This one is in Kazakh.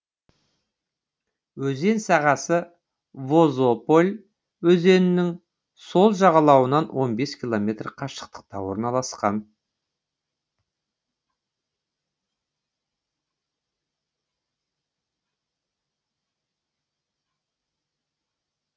өзен сағасы возополь өзенінің сол жағалауынан он бес километр қашықтықта орналасқан